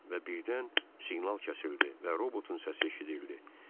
Və birdən siqnal kəsildi və robotun səsi eşidildi.